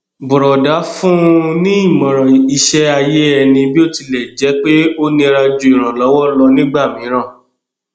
bùrọdá fún un ní ìmọràn iṣẹ ayé ẹni bí ó tilẹ jẹ pé ó nira ju ìrànlọwọ lọ nígbà mìíràn